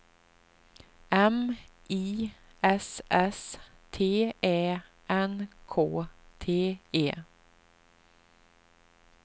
M I S S T Ä N K T E